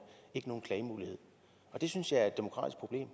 ikke nogen klagemulighed og det synes jeg er et demokratisk problem